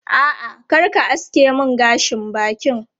A'a, kar ka aske mun gashin bakin.